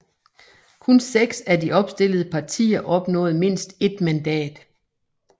Kun 6 af de opstillede partier opnåede mindst et mandat